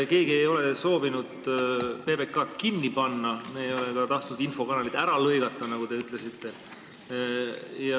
Keegi ei ole soovinud PBK-d kinni panna ja me ei ole ka tahtnud infokanalit ära lõigata, nagu te ütlesite.